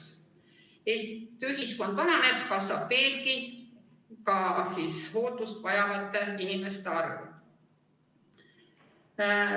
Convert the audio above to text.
Kui Eesti ühiskonna vananeb, siis kasvab veelgi ka hooldust vajavate inimeste arv.